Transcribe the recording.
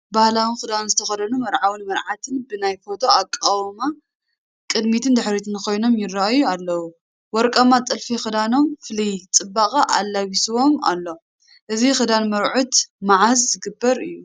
ባህላዊ ክዳን ዝተኸደኑ መርዓውን መርዓትን ብናይ ፎቶ ኣቋቑማ ቅድሚትን ድሕሪትን ኮይኖም ይርአዩ ኣለዉ፡፡ ወርቃማ ጥልፊ ክዳኖም ፍሉይ ፅባቐ ኣላቢስዎም ኣሎ፡፡ እዚ ክዳን መርዑት መዓዝ ዝግበር እዩ?